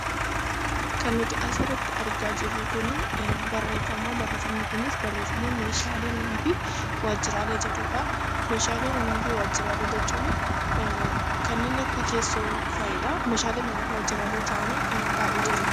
Kan nuti asirratti argaa jirru kun barreeffama meeshaalee manaa fi waajjiraalee jedhudha. Meeshaalee manaa fi waajjiraalee jechuun kanneen akka teessoo fa'idha. Meeshaalee manaa fi waajjiraalee kan ta'an baay'eetu jira.